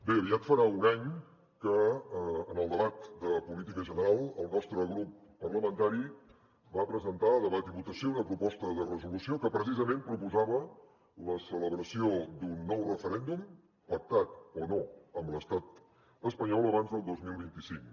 bé aviat farà un any que en el debat de política general el nostre grup parlamentari va presentar a debat i votació una proposta de resolució que precisament proposava la celebració d’un nou referèndum pactat o no amb l’estat espanyol abans del dos mil vint cinc